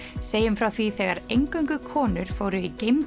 segjum frá því þegar eingöngu konur fóru í